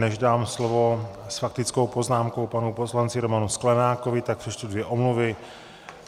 Než dám slovo s faktickou poznámkou panu poslanci Romanu Sklenákovi, tak přečtu dvě omluvy.